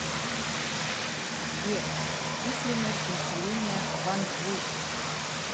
сбер численность населения кванджу